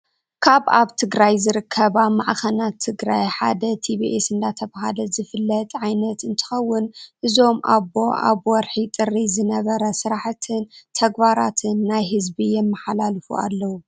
ካብ ኣብ ትግራይ ዝርከባ ማዕከናት ትግራይ ሓደ ትቢኣስ እንተባሃለ ዝፍለጥ ዓይነት እትከውን እዞም ኣቦኣብ ወርጢ ጥር ዝነበረ ስራሕትን ተግባራትን ናይ ህዝቢ የማሓላልፉ ኣለው።